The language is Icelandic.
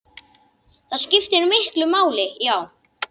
Það skiptir miklu máli, já.